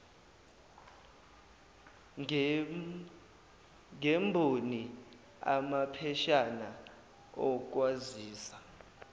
ngemboni amapheshana okwazisa